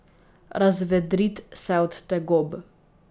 Razvedrit se od tegob.